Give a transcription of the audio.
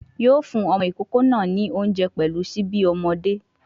Yóò fún ọmọ ìkókó náà ní oúnjẹ pẹ̀lú síbí ọmọdé